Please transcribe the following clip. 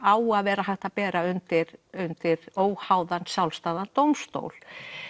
á að vera hægt að bera undir undir óháðan sjálfstæðan dómstól